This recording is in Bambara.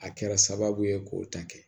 A kɛra sababu ye k'o ta kɛ